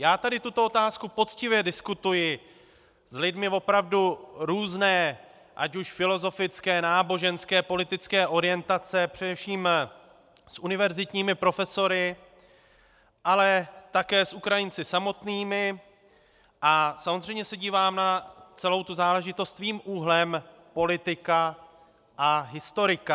Já tady tuto otázku poctivě diskutuji s lidmi opravdu různé, ať už filozofické, náboženské, politické orientace, především s univerzitními profesory, ale také s Ukrajinci samotnými, a samozřejmě se dívám na celou tu záležitost svým úhlem politika a historika.